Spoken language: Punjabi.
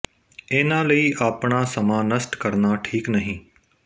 ਇਨ੍ਹਾਂ ਲਈ ਆਪਣਾ ਸਮਾਂ ਨਸ਼ਟ ਕਰਨਾ ਠੀਕ ਨਹੀਂ